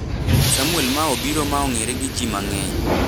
Samwel ma obiro ma ong'ere gi ji mang'eny